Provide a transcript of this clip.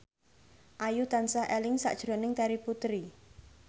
Ayu tansah eling sakjroning Terry Putri